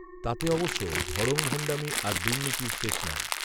তাতে অবশ্য ভড়ংভণ্ডামি আর দুর্নীতির শেষ নেই